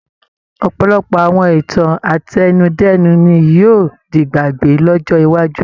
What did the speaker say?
Ọ̀pọ̀lọpọ̀ àwọn ìtàn àtẹnudẹ́nu ní yóò di'gbàgbé lọ́jọ́ iwájú.